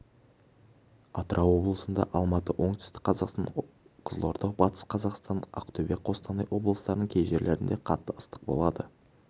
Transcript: атырау облысында алматы оңтүстік қазақстан қызылорда батыс қазақстан ақтөбе қостанай облыстарының кей жерлерінде қатты ыстық болады